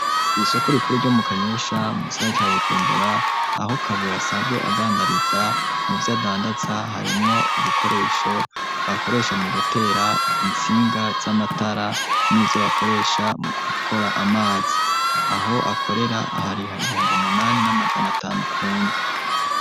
kw'isoko rikuru ryo mu kanyosha mugisagara ca bujumbura aho kabura asanzwe adandariza mu vy'adandaza harimwo ubukoresho bakoresha mu gutera intsinga z'amatara n'ivyo bakoresha mu gukora amazi aho akorera ahariha ibihumbi umunani n'amajana atanu kundwi.